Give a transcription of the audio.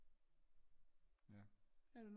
Ja